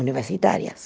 universitárias.